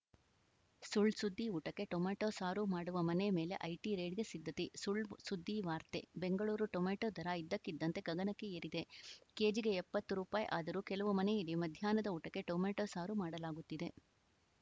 ಸುಳ್‌ ಸುದ್ದಿ ಊಟಕ್ಕೆ ಟೊಮೆಟೊ ಸಾರು ಮಾಡುವ ಮನೆ ಮೇಲೆ ಐಟಿ ರೇಡ್‌ಗೆ ಸಿದ್ಧತೆ ಸುಳ್‌ಸುದ್ದಿ ವಾರ್ತೆ ಬೆಂಗಳೂರು ಟೊಮೆಟೊ ದರ ಇದ್ದಕ್ಕಿದ್ದಂತೆ ಗಗನಕ್ಕೆ ಏರಿದೆ ಕೆಜಿಗೆ ಎಪ್ಪತ್ತು ರುಪಾಯಿ ಆದರೂ ಕೆಲವು ಮನೆಯಲ್ಲಿ ಮಧ್ಯಾಹ್ನದ ಊಟಕ್ಕೆ ಟೊಮೆಟೊ ಸಾರು ಮಾಡಲಾಗುತ್ತಿದೆ